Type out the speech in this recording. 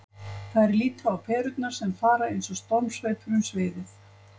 Þær líta á perurnar sem fara eins og stormsveipur um sviðið.